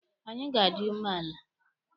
Anyị ga-adị umeala.